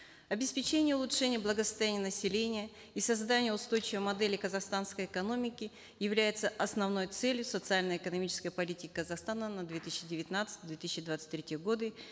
обеспечение улучшения благосостояния населения и создание устойчивой модели казахстанской экономики являются основной целью социально экономической политики казахстана на две тысячи девятнадцатый две тысячи двадцать третий годы